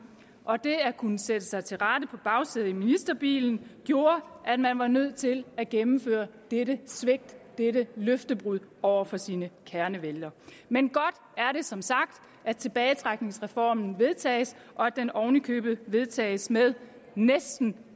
og det at kunne sætte sig til rette på bagsædet af ministerbilerne gjorde at man var nødt til at gennemføre dette svigt dette løftebrud over for sine kernevælgere men godt er det som sagt at tilbagetrækningsreformen vedtages og at den oven i købet vedtages næsten